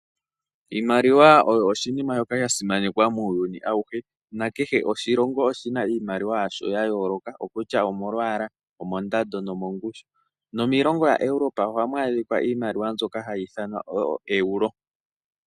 Iimaliwa oyo oshinima shoka sha simanekwa muuyuni awuhe na kehe oshilongo oshina iimaliwa yasho ya yooloka okutya omomwaala, omondando nomongushu . Nomiilongo ya Europa ohamu adhika mbyoka hayi ithanwa oo Euro